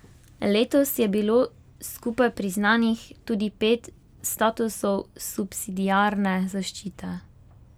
Letos je bilo skupaj priznanih tudi pet statusov subsidiarne zaščite.